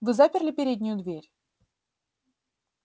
вы заперли переднюю дверь